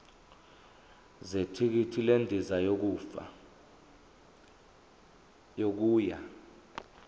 zethikithi lendiza yokuya